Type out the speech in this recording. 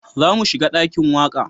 Za mu shiga dakin waƙa